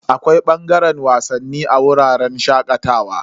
Akwai bangaren wasanni a wuraren shakatawa.